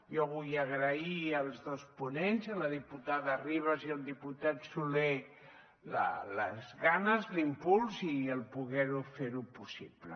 jo vull agrair als dos ponents a la diputada ribas i al diputat solé les ganes l’impuls i el poder ho fer possible